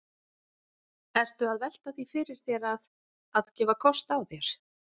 Ertu að velta því fyrir þér að, að gefa kost á þér?